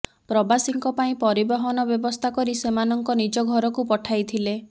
ପ୍ରବାସୀଙ୍କ ପାଇଁ ପରିବହନ ବ୍ୟବସ୍ଥା କରି ସେମାନଙ୍କ ନିଜ ଘରକୁ ପଠାଇଥିଲେ